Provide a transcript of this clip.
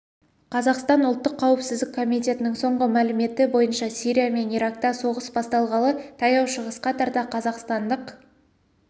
қазақстан ұлттық қауіпсіздік комитетінің соңғы мәліметі бойынша сирия мен иракта соғыс басталғалы таяу шығысқа тарта қазақстандық